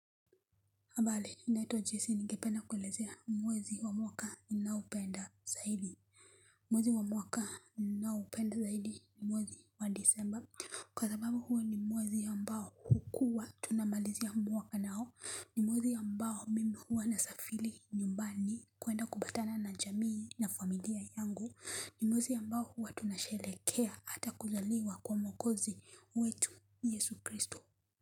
Habari naitwa jesi ningependa kuelezea mwezi wa mwaka ninaopenda zaidi mwezi wa mwaka ninaoupenda zaidi ni mwezi wa disemba Kwa sababu huwa ni mwezi ambao hukua tunamalizia mwaka nao ni mwezi ambao mimi huwa nasafiri nyumbani kuenda kupatana na jamii na familia yangu ni mwezi ambao huwa tunasherehekea hata kuzaliwa kwa mwokozi wetu yesu kristo.